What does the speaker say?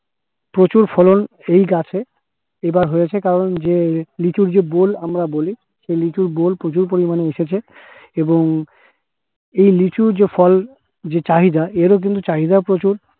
প্রচুর ফলন এই গাছে এবার হয়েছে কারণ যে লিচুর যে বোল আমরা বলি, সেই লিচুর বোল প্রচুর পরিমাণে উঠেছে এবং এই লিচুর যে ফল যে চাহিদা এরও কিন্তু চাহিদা প্রচুর।